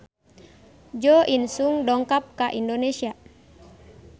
Jo In Sung dongkap ka Indonesia